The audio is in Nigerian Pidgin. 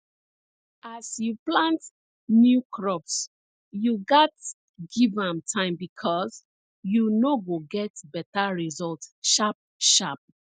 as you plant new crops you gats give am time becos you no go get better result sharp sharp